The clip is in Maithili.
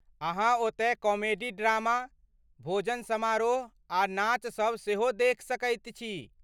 अहाँ ओतय कॉमेडी ड्रामा, भोजन समारोह आ नाचसब सेहो देखि सकैत छी।